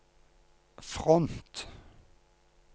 front